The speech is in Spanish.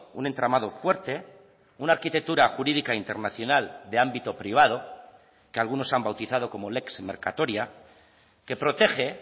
un entramado fuerte una arquitectura jurídica internacional de ámbito privado que algunos han bautizado como lex mercatoria que protege